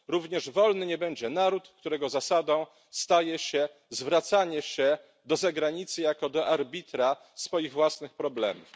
Również wolny nie będzie naród, którego zasadą staje się zwracanie się do zagranicy jako do arbitra swoich własnych problemów.